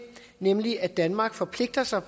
nemlig at danmark forpligter sig